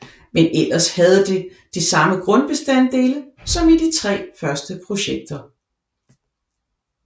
Men ellers havde det de samme grundbestanddele som i de tre første projekter